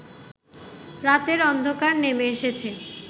রাতের অন্ধকার নেমে এসেছে